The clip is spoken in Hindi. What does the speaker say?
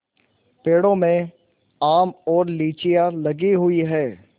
पेड़ों में आम और लीचियाँ लगी हुई हैं